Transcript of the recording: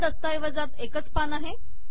या दस्तऐवजात एकच पान आहे